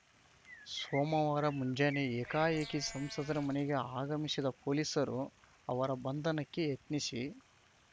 ಸೋಮವಾರ ಮುಂಜಾನೆ ಏಕಾಏಕಿ ಸಂಸದರ ಮನಗೆ ಆಗಮಿಸಿದ ಪೊಲೀಸರು ಅವರ ಬಂಧನಕ್ಕೆ ಯತ್ನಿಸಿ